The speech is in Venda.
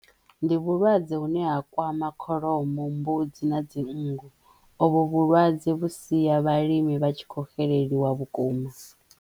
Ndi vhulwadze hune ha kwama kholomo, mbudzi na dzinngu. O vho vhulwadze vhu siya vhalimi vha tshi kho xeleliwa vhukuma.